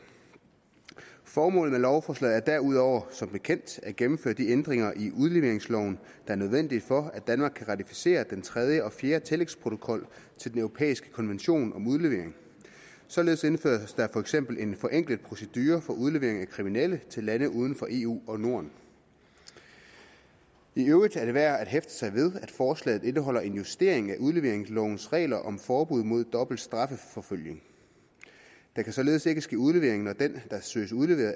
formålet med lovforslaget er derudover som bekendt at gennemføre de ændringer i udleveringsloven er nødvendige for at danmark kan ratificere den tredje og fjerde tillægsprotokol til den europæiske konvention om udlevering således indføres der for eksempel en forenklet procedure for udlevering af kriminelle til lande uden for eu og norden i øvrigt er det værd at hæfte sig ved at forslaget indeholder en justering af udleveringslovens regler om forbud mod dobbelt strafforfølgning der kan således ikke ske udlevering når den der søges udleveret